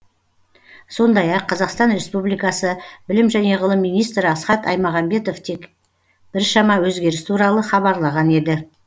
сондай ақ қазақстан республикасы білім және ғылым министрі асхат аймағамбетов те біршама өзгеріс туралы хабарлаған еді